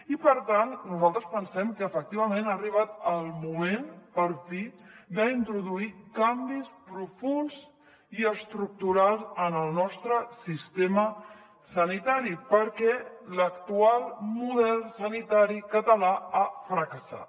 i per tant nosaltres pensem que efectivament ha arribat el moment per fi d’introduir canvis profunds i estructurals en el nostre sistema sanitari perquè l’actual model sanitari català ha fracassat